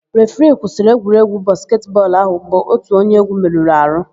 Refiri kwụsịrị egwuregwu basketị bọọlụ áhụ̀ mgbe ótù onye égwú merụrụ àhụ́.